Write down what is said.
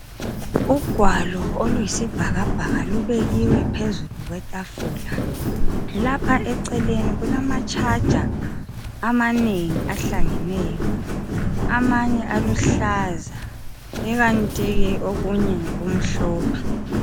Ugwalo oluyisibhakabhaka lubekiwe phezulu kwetafula. Lapha eceleni kulamatshaja amanengi ahlangeneyo. Amanye aluhlaza ikanti ke okunengi kumhlophe.